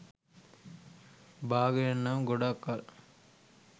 බාගෙන නම් ගොඩක් කල්